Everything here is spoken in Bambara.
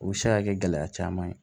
U bɛ se ka kɛ gɛlɛya caman ye